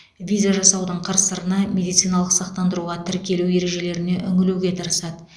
виза жасаудың қыр сырына медициналық сақтандыруға тіркелу ережелеріне үңілуге тырысады